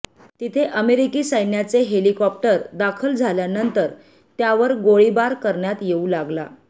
तिथे अमेरिकी सैन्याचे हेलिकॉप्टर दाखल झाल्यानंतर त्यावर गोळीबार करण्यात येऊ लागला